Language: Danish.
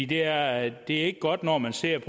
det er ikke godt når man ser